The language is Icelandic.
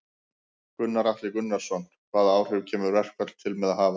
Gunnar Atli Gunnarsson: Hvaða áhrif kemur verkfall til með að hafa?